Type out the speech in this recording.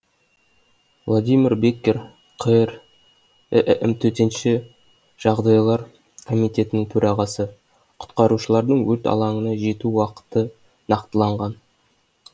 владимир беккер қр іім төтенше жағдайлар комитетінің төрағасы құтқарушылардың өрт алаңына жету уақыты нақтыланған